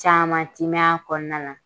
Caman tɛ mɛɛn a kɔnɔna na